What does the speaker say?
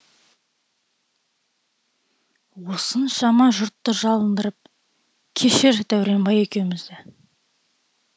осыншама жұртты жалындырып кешір дәуренбай екеумізді